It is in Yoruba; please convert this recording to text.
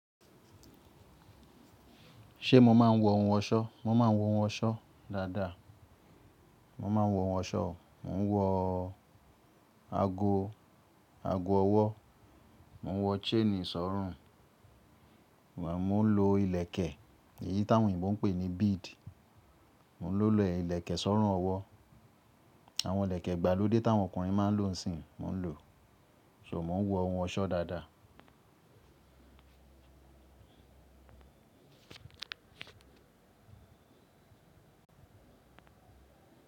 Ṣé mo máa ń wọ ohun ọ̀ṣọ́? Mo máa ń wọ ohun ọ̀ṣọ́ dáadáa. Mo máa ń wọ ohun ọ̀ṣọ́, mo ń wọ ago, ago ọwọ́, mo ń wọ chain sọ́rùn, mó ń lo ìlẹ̀kẹ̀, èyí táwọn Yorùbá ń pè ní bead. Mò ń lo ilẹ̀kẹ̀ sọ́rùn ọwọ́, àwọn ìlẹ̀kẹ̀ ìgbàlódé táwọn ọkùnrin máa ń lò ńsìn, mò ń lò o. So mò ń wọ ohun ọ̀ṣọ́ dáadáa.